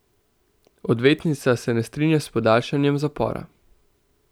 Odvetnica se ne strinja s podaljšanjem zapora.